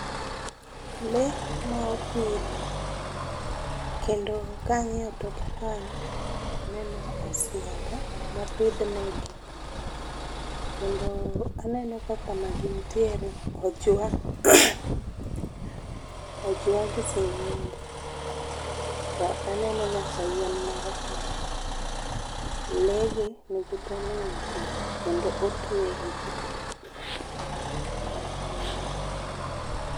Lee ma opidh kendo kangiyo toke kanyo to aneno osiaga mopidh negi, kendo aneno ka kama gintiere ojwa, ojwag singenge. To aneno nyaka yien moro kae, lee gi nigi tol moro e ng'utgi kendo otwegi